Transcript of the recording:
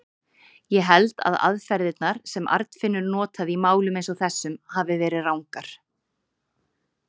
Ég held að aðferðirnar, sem Arnfinnur notaði í málum eins og þessum, hafi verið rangar.